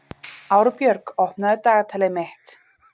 Árbjörg, opnaðu dagatalið mitt.